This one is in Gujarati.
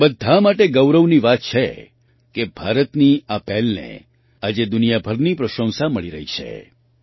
આપણા બધા માટે ગૌરવની વાત છે કે ભારતની આ પહેલને આજે દુનિયાભરની પ્રશંસા મળી રહી છે